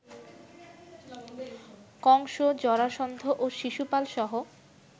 কংস, জরাসন্ধ ও শিশুপালসহ